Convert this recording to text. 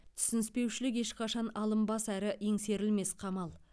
түсініспеушілік ешқашан алынбас әрі еңсерілмес қамал